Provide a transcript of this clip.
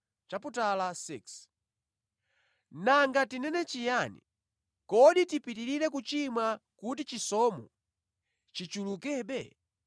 Nanga tinene chiyani? Kodi tipitirire kuchimwa kuti chisomo chichulukebe?